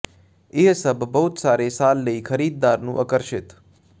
ਇਹ ਸਭ ਬਹੁਤ ਸਾਰੇ ਸਾਲ ਲਈ ਖਰੀਦਦਾਰ ਨੂੰ ਆਕਰਸ਼ਿਤ